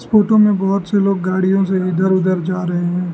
Photo में बहोत से लोग गाड़ियों से इधर उधर जा रहे हैं।